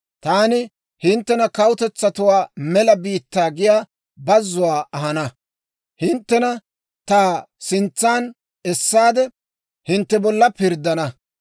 Taani hinttena kawutetsatuwaa mela biittaa giyaa bazzuwaa ahana; hinttena ta sintsan essaade, hintte bolla pirddana.